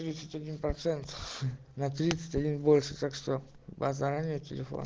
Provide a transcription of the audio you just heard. десять один процентов на тридцать один больше так что базара нет телеф